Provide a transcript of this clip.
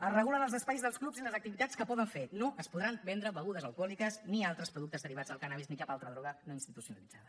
es regulen els espais dels clubs i les activitats que poden fer no es podran vendre begudes alcohòliques ni altres productes derivats del cànnabis ni cap altra droga no institucionalitzada